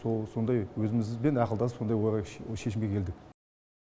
сол сондай өзімізбен ақылдасып сондай шешімге келдік